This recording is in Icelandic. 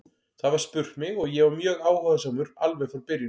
Það var spurt mig og ég var mjög áhugasamur alveg frá byrjun.